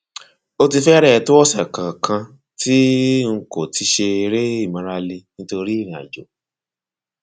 ó ti fẹrẹẹ tó ọsẹ kan kan tí n kò ti ṣe eré ìmárale nítorí ìrìnàjò